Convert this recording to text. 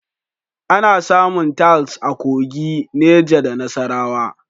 Ana samun Talc a Kogi, Neja da Nasarawa.